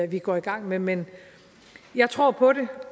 vi går i gang med men jeg tror på det